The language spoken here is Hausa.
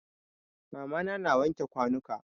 Mama na na wanke kwanuka.